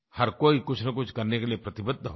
हर कोई कुछनकुछ करने के लिये प्रतिबद्ध हो गया